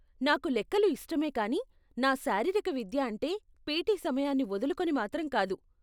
నాకు లెక్కలు ఇష్టమే కానీ నా శారీరక విద్య అంటే పిటీ సమయాన్ని వదులుకుని మాత్రం కాదు.